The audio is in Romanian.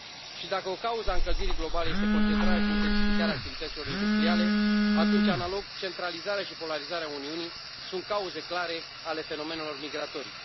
Și, dacă o cauză a încălzirii globale este concentrarea și intensificarea activităților industriale, atunci, analog, centralizarea și polarizarea Uniunii sunt cauze clare ale fenomenelor migratorii.